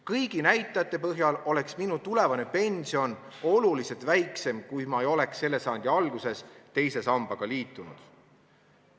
Kõigi näitajate põhjal oleks minu tulevane pension oluliselt väiksem, kui ma ei oleks selle sajandi alguses teise sambaga liitunud.